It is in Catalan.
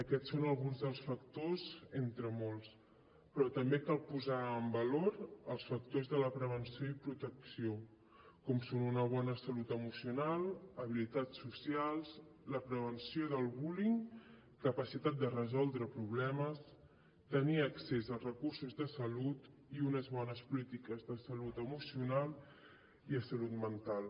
aquests són alguns dels factors entre molts però també cal posar en valor els factors de la prevenció i protecció com són una bona salut emocional habilitats socials la prevenció del bullying capacitat de resoldre problemes tenir accés als recursos de salut i unes bones polítiques de salut emocional i salut mental